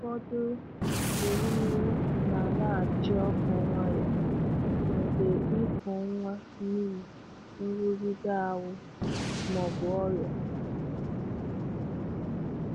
Ụfọdụ ewumewụ na-alaghachi ọkụ nwayọ mgbe ịkụ nwa n’ihi nrụgide ahụ́ ma ọ bụ ọrịa.